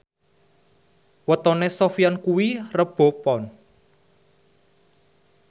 wetone Sofyan kuwi Rebo Pon